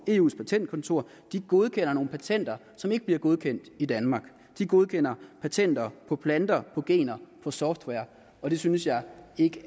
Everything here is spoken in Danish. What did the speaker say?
eus patentkontor godkender nogle patenter som ikke bliver godkendt i danmark de godkender patenter på planter på gener på software og det synes jeg ikke